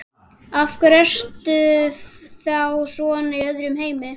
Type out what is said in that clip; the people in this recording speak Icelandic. Af hverju ertu þá svona í öðrum heimi?